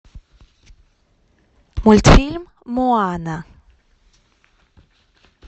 мультфильм моана